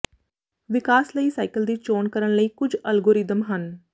ਵਿਕਾਸ ਲਈ ਸਾਈਕਲ ਦੀ ਚੋਣ ਕਰਨ ਲਈ ਕੁਝ ਅਲਗੋਰਿਦਮ ਹਨ